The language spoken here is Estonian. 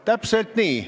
Täpselt nii.